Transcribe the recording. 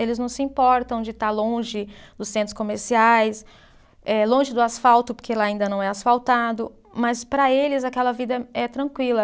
Eles não se importam de estar longe dos centros comerciais, eh longe do asfalto, porque lá ainda não é asfaltado, mas para eles aquela vida é, é tranquila.